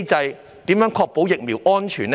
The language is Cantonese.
當局如何確保疫苗的安全？